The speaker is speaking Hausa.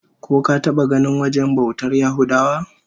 Ko ka taba ganin wajen bautar Yahudawa?